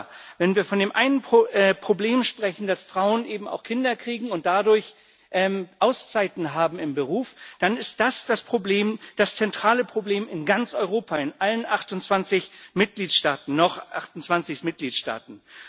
Aber wenn wir von dem einen Problem sprechen, dass Frauen eben auch Kinder kriegen und dadurch Auszeiten haben im Beruf, dann ist das das Problem, das zentrale Problem in ganz Europa, in allen 28 Mitgliedstaaten noch 28 Mitgliedstaaten.